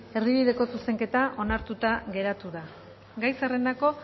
erdibideko zuzenketa onartuta geratu da gai zerrendako